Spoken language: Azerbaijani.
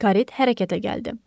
Karet hərəkətə gəldi.